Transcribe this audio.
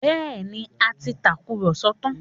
Bẹẹni, a ti tàkùrọ̀sọ tán